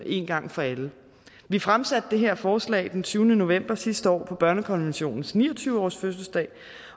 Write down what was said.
en gang for alle vi fremsatte det her forslag den tyvende november sidste år på børnekonventionens ni og tyve årsfødselsdag